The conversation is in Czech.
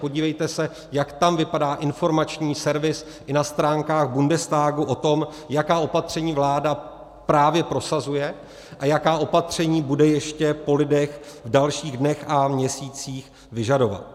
Podívejte se, jak tam vypadá informační servis i na stránkách Bundestagu o tom, jaká opatření vláda právě prosazuje a jaká opatření bude ještě po lidech v dalších dnech a měsících vyžadovat.